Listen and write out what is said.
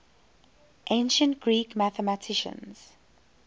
ancient greek mathematicians